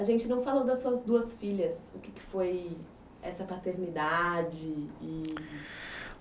A gente não falou das suas duas filhas o que que foi essa paternidade eee